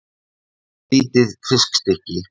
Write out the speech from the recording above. Soðið lítið fiskstykki?